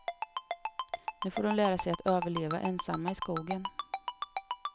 Nu får de lära sig att överleva ensamma i skogen.